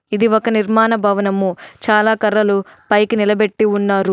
ఇది ఒక నిర్మాణ భవనము చాలా కర్రలు పైకి నిలబెట్టి ఉన్నారు.